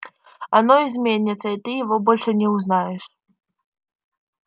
оно изменится и ты его больше не узнаешь